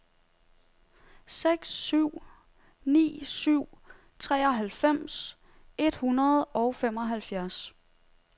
seks syv ni syv treoghalvfems et hundrede og femoghalvfjerds